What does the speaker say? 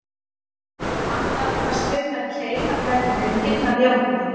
Annar kvaðst finna keim af leðri, en hinn af járni.